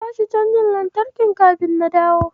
Ka bashi cajar lantarkin kafin na dawo.